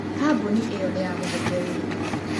Kambuni ĩyo nĩ yamũheire wĩra.